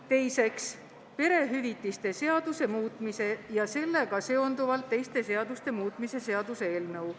Teiseks, perehüvitiste seaduse muutmise ja sellega seonduvalt teiste seaduste muutmise seaduse eelnõu.